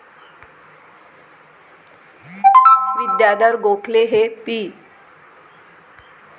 विद्याधर गोखले हे पी.